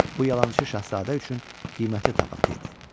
Bu yalançı şahzadə üçün qiymətli tapıntı idi.